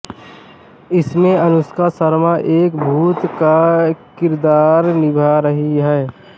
इसमें अनुष्का शर्मा एक भूत का किरदार निभा रही हैं